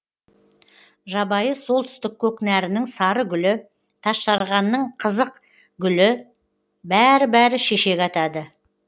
жабайы солтүстік көкнәрінің сары гүлі тасжарғанның қызық гүлі бәрі бәрі шешек атады